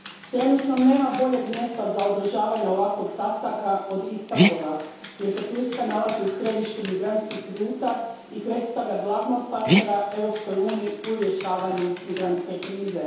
Trenutno nema boljeg mjesta za održavanje ovakvog sastanka od Istanbula jer se Turska nalazi u središtu migrantskih ruta i predstavlja glavnog partnera Europskoj uniji u rješavanju migrantske krize.